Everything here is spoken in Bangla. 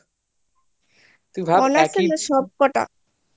honours এর না সব কটা